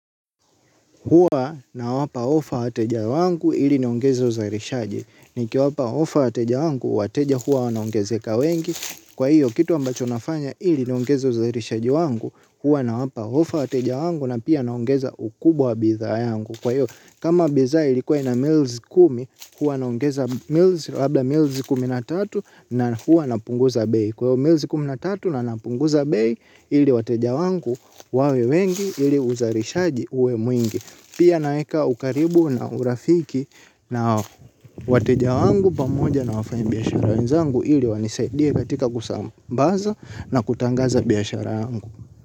Huwa nawapa ofa wateja wangu ili niongezo uzarishaji. Niki wapa ofa wateja wangu wateja hua wanaongezeka wengi. Kwa hiyo kitu ambacho nafanya ili niongezo uzarishaji wangu hua nawapa ofa wateja wangu na pia naongeza ukubwa wa bitha yangu. Kwa hiyo kama bitha ilikuwa ina milzi kumi hua naongeza milzi labla milzi kuminatatu na hua napunguza bei. Kwa hiyo milzi kumi na tatu na napunguza bei ili wateja wangu wawe wengi ili uzarishaji uwe mwingi. Pia naeka ukaribu na urafiki nao wateja wangu pamoja na wafanyibiyashara wenzangu ili wanisaidie katika kusambaza na kutangaza biyashara wanzangu.